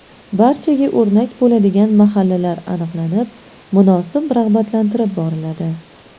Barchaga o‘rnak bo‘ladigan mahallalar aniqlanib, munosib rag‘batlantirib boriladi.